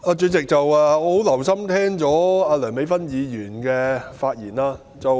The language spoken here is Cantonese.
主席，我很留心聆聽梁美芬議員的發言。